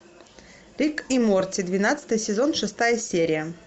рик и морти двенадцатый сезон шестая серия